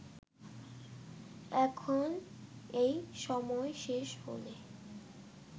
এখন এই সময় শেষ হলে